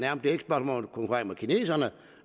at vi konkurrerer med kineserne